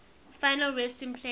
final resting place